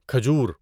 کھجور